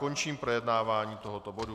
Končím projednávání tohoto bodu.